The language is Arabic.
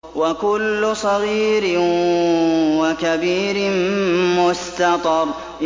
وَكُلُّ صَغِيرٍ وَكَبِيرٍ مُّسْتَطَرٌ